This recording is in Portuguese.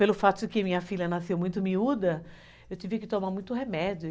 Pelo fato de que minha filha nasceu muito miúda, eu tive que tomar muito remédio.